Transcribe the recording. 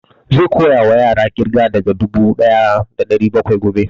Zai koya wa yaran ƙirga daga dubu ɗaya da ɗari bakwai gobe